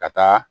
Ka taa